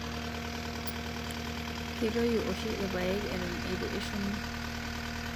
Ketoyu oshii irpaek eton eitu eshumi